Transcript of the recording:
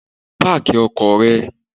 Park your car